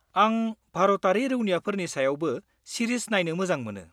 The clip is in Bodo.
-आं भारतारि रौनियाफोरनि सायावबो सिरिज नायनो मोजां मोनो।